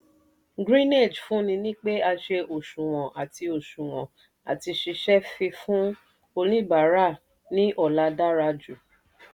greenage fúnni ní pé a ṣe òṣùwọ̀n àti òṣùwọ̀n àti ṣiṣẹ́ fífún oníbàárà ní ọlá dára jù.